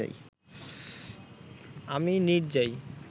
আমি নিঁদ যাই